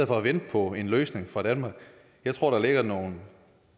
for at vente på en løsning fra danmark jeg tror der ligger nogle